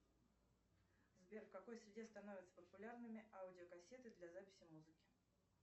сбер в какой среде становятся популярными аудио кассеты для записи музыки